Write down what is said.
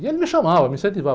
E ele me chamava, me incentivava.